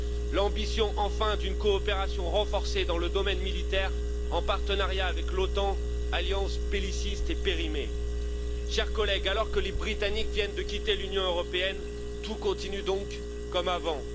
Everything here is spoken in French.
et l'ambition, enfin, d'une coopération renforcée dans le domaine militaire en partenariat avec l'OTAN, alliance belliciste et périmée. Chers collègues, alors que les Britanniques viennent de quitter l'Union européenne, tout continue donc comme avant.